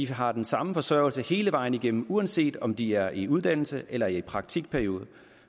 har den samme forsørgelse hele vejen igennem uanset om de er i uddannelse eller i praktikperiode